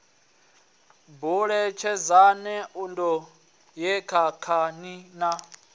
buletshedzani nṋdu ye thathani na